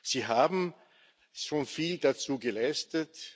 wird. Sie haben schon viel dazu geleistet.